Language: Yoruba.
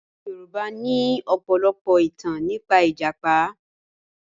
Àwọn Yorùbá ní ọ̀pọ̀lọpọ̀ ìtàn nípa ìjàpá